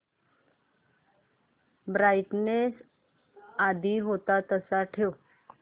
brightness आधी होता तसाच ठेव